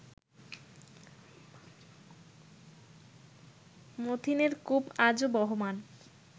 মাথিনের কূপ আজো বহমান